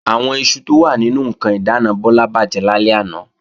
Àwọn iṣu tó wà nínú ǹkan ìdáàna Bọ́lá bàjẹ́ lálẹ́ àná